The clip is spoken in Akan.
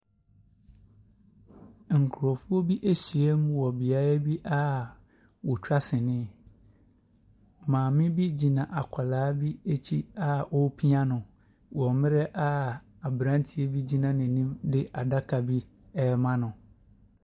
Nkurɔfoɔ bi ahyiam wɔ beaeɛ a wɔtwa sini. Maame bi gyina akwadaa bi akyi a ɔrepia no. Wɔ mmerɛ a aberanteɛ bi gyina n'anim de adaka bi rema no.